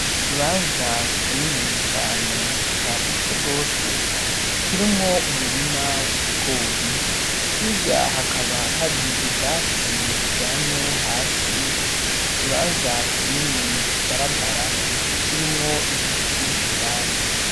Ikibanza kinini cane cagutse rwose, kirimwo umurima w'ibigori, hirya hakaba hari ubwatsi buryamye hasi, ku kibanza kinini kigaragara, kirimwo ibiti indani.